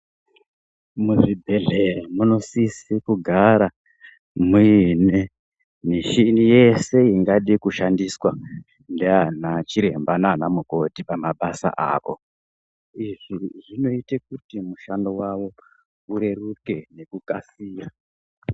Muzvibhedhleya munosise kugara muine mishini yese ingade kushandiswa ndiana chiremba naana mukoti pamabasa ako. Izvi zvinoite kuti mushando wavo ureruke nekukasira.